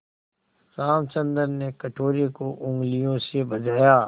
रामचंद्र ने कटोरे को उँगलियों से बजाया